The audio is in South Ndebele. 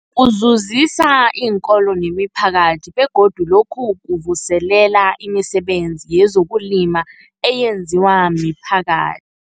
Kuzuzisa iinkolo nemiphakathi begodu lokhu kuvuselela imisebenzi yezokulima eyenziwa miphakathi.